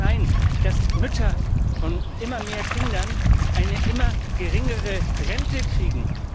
Es kann nicht sein, dass Mütter von immer mehr Kindern eine immer geringere Rente kriegen.